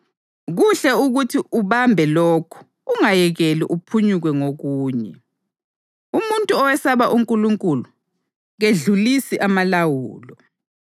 Kuhle ukuthi uthi ubambe lokhu ungayekeli uphunyukwe ngokunye. Umuntu owesaba uNkulunkulu kedlulisi amalawulo.